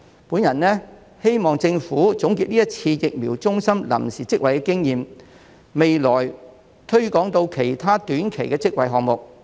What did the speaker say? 我希望政府總結這次疫苗中心臨時職位的經驗，並在未來推廣至其他短期職位項目。